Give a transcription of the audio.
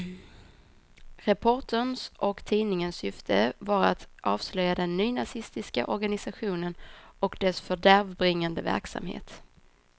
Reporterns och tidningens syfte var att avslöja den nynazistiska organisationen och dess fördärvbringande verksamhet.